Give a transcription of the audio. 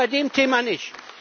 Nur bei dem Thema nicht.